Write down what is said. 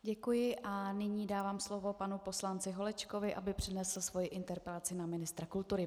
Děkuji a nyní dávám slovo panu poslanci Holečkovi, aby přednesl svoji interpelaci na ministra kultury.